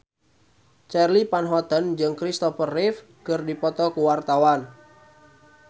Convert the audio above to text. Charly Van Houten jeung Christopher Reeve keur dipoto ku wartawan